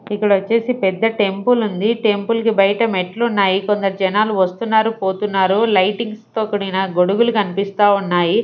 ఇక్కడ వచ్చేసి పెద్ద టెంపుల్ ఉంది టెంపుల్ కి బయట మెట్లు ఉన్నాయి కొందరు జనాలు వస్తున్నారు పోతున్నారు లైటింగ్స్ తో కూడిన గొడుగులు కనిపిస్తా ఉన్నాయి.